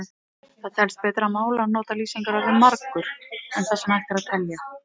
Það telst betra mál að nota lýsingarorðið margur um það sem hægt er að telja.